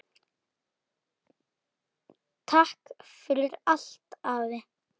Takk fyrir allt, afi.